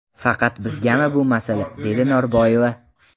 Faqat bizgami bu masala?”, – dedi Norboyeva.